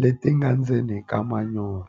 leti nga ndzeni ka manyoro.